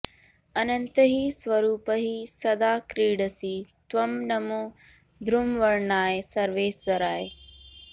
अनन्तैः स्वरूपैः सदा क्रीडसि त्वं नमो धूम्रवर्णाय सर्वेश्वराय